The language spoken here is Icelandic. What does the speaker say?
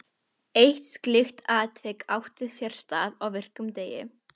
Eitt slíkt atvik átti sér stað á virkum degi.